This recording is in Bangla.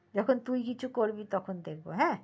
যখন তুই কিছু করছি তখন দেখবো হ্যা